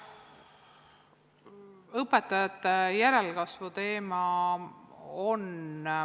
Õpetajate järelkasvu teema.